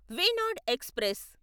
Wayanad express